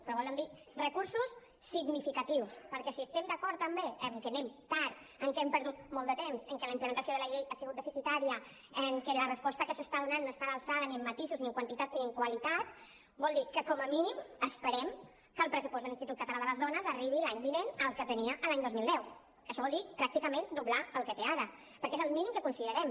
però vol dir recursos significatius perquè si estem d’acord també que anem tard que hem perdut molt de temps que la implementació de la llei ha sigut deficitària que la resposta que s’està donant no està a l’alçada ni en matisos ni en quantitat ni en qualitat vol dir que com a mínim esperem que el pressupost de l’institut català de les dones arribi l’any vinent al que tenia l’any dos mil deu que això vol dir pràcticament doblar el que té ara perquè és el mínim que considerem